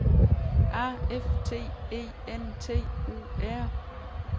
A F T E N T U R